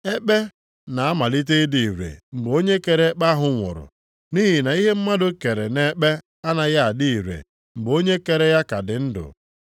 Ekpe na-amalite ịdị ire mgbe onye kere ekpe ahụ nwụrụ, nʼihi na ihe mmadụ kere nʼekpe anaghị adị ire mgbe onye kere ya ka dị ndụ.